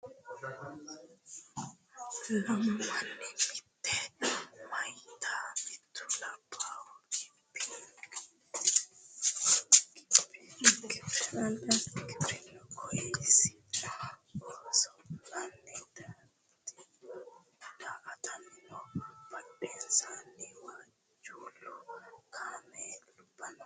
Lammu manni mitte meyatina mittu labbahu gibbirinu kaayisino kaasho biifannoha anigate amadde lae osolanni daa'attani noo badhennisanino waajulu kaamelubba noo